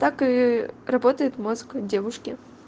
так и работает мозг у девушки